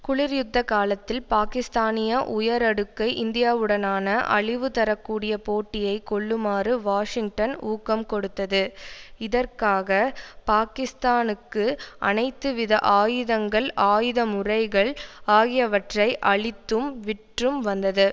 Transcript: குளிர்யுத்த காலத்தில் பாக்கிஸ்தானிய உயரடுக்கை இந்தியாவுடனான அழிவுதரக்கூடிய போட்டியை கொள்ளுமாறு வாஷிங்டன் ஊக்கம் கொடுத்தது இதற்காக பாக்கிஸ்தானுக்கு அனைத்துவித ஆயுதங்கள் ஆயுத முறைகள் ஆகியவற்றை அளித்தும் விற்றும் வந்தது